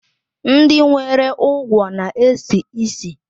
Ndị nwere ugwo na-esi ísì.